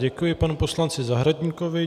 Děkuji panu poslanci Zahradníkovi.